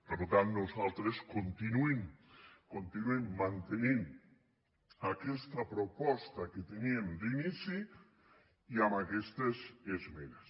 per tant nosaltres continuem mantenint aquesta proposta que teníem d’inici i amb aquestes esmenes